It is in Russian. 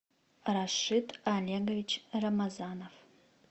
рашид олегович рамазанов